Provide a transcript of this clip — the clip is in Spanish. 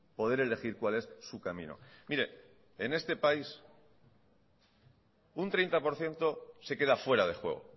poder elegir cuál es su camino mire en este país un treinta por ciento se queda fuera de juego